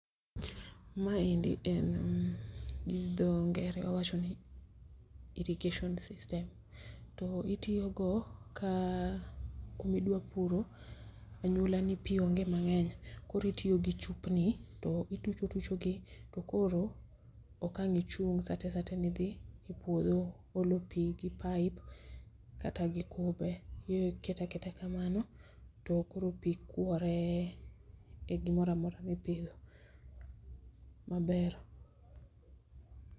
Maendi en mm gi dho ngere wawachoni irrigation system, to itiogo ka kumidwa puro anyuola ni pii onge mang'eny, koro itiogi chupni to ituchotucho gi koro okang' ichung' satesate nidhi e puodho olo pii gi pipe kata gi kube. iketaketa kamano to koro pii kwore e gimoramora mipidho maber.